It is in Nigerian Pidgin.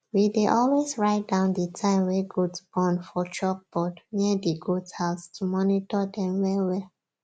we dey always write down di time wey goat born for chalkboard near di goathouse to monitor dem well well